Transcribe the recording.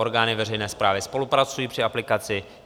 Orgány veřejné správy spolupracují při aplikaci.